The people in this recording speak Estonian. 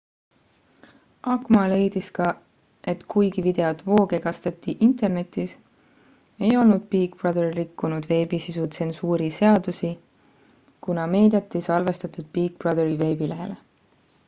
acma leidis ka et kuigi videot voogedastati internetis ei olnud big brother rikkunud veebisisu tsensuuri seadusi kuna meediat ei salvestatud big brotheri veebilehele